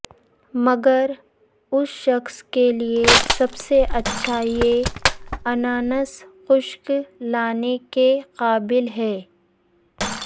مگر اس شخص کے لئے سب سے اچھا یہ اناناس خشک لانے کے قابل ہے